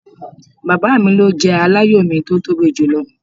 Baba mi lo jẹ alayọ mi ti o tobi julọ.